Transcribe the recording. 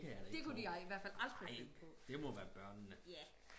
det kunne de i hvertfald aldrig finde på